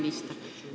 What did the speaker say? Hea minister!